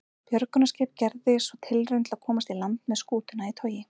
Björgunarskip gerði svo tilraun til að komast í land með skútuna í togi.